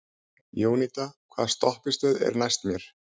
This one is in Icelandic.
Jónída, hvaða stoppistöð er næst mér?